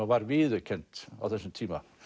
var viðurkennt á þessum tíma